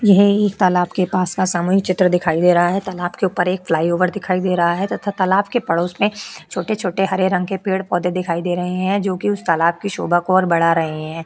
यह एक तालाब के पास का सामूहिक चित्र दिखाई दे रहा है तालाब के ऊपर एक फ्लाईओवर दिखाई दे रहा है तथा तालाब के पड़ोस में छोटे छोटे हरे रंग के पेड़ पौधे दिखाई दे रहे हैं जो कि उस तालाब की शोभा को और बड़ा रहे है।